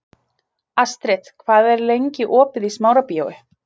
Astrid, hvað er lengi opið í Smárabíói?